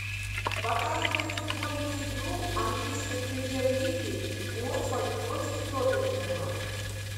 показывай футбольную игру английской премьер лиги уотфорд против тоттенхэма